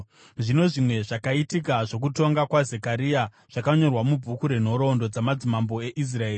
Zvino zvimwe zvakaitika zvokutonga kwaZekaria zvakanyorwa mubhuku renhoroondo dzamadzimambo eIsraeri.